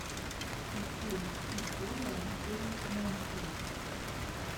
ищи история джейн мэнсфилд